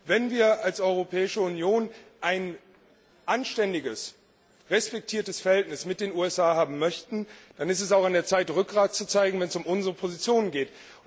Wenn wir als Europäische Union ein anständiges, respektiertes Verhältnis mit den USA haben möchten, dann ist es auch an der Zeit, Rückgrat zu zeigen, wenn es um unsere Positionen geht.